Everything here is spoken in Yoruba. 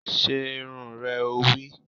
Se irun rẹ! Ó wí